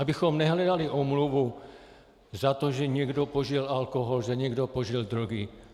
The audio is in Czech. Abychom nehledali omluvu za to, že někdo požil alkohol, že někdo požil drogy.